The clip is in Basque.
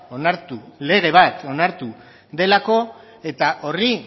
onartu lege bat onartu delako eta horri